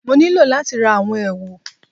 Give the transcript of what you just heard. Mo nílò láti ra àwọn èwù